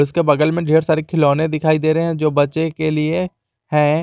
उसके बगल में ढेर सारे खिलौने दिखाई दे रहे हैं जो बच्चे के लिए है।